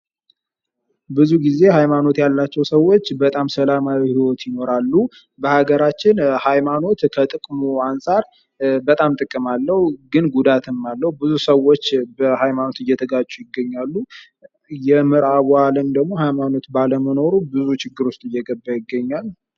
ብዙ ጊዜ ሃይማኖት ያላቸው ሰዎች በጣም ሰላማዊ ህይወት ይኖራሉ በሀገራችን ሀይማኖት ከጥቅሙ አንጻር በጣም ጥቅም አለው ግን ጉዳትም አለው ብዙ ሰዎች በሃይማኖት እየተጋጩ ይገኛሉ:: የምዕራቡ ዓለም ደግሞ ሃይማኖት ባለመኖሩ ብዙ ችግሮች እየገባ ይገኛል ::